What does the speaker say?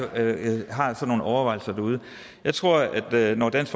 har sådan nogle overvejelser jeg tror at når dansk